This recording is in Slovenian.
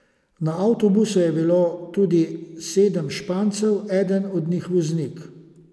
Na avtobusu je bilo tudi sedem Špancev, eden od njih voznik.